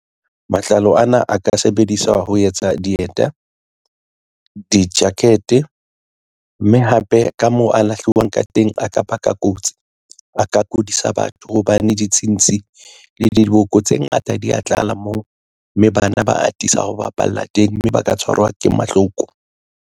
Matlalo ana a ka sebediswa ho etsa dieta, di-jacket, mme hape ka moo a lahliweng ka teng a ka baka kotsi. A ka kodisa batho hobane ditshintshi le diboko tse ngata di a tlala moo, mme bana ba atisa ho bapalla teng mme ba ka tshwarwa ke mahloko.